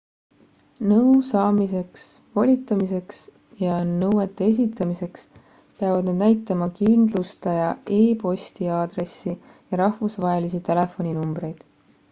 nõu saamiseks / volitamiseks ja nõuete esitamiseks peavad nad näitama kindlustaja e-posti aadressi ja rahvusvahelisi telefoninumbreid